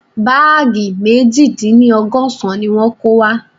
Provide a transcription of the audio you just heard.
Báàgì meji dín ní ọgọ́sán ni wọ́n kó wá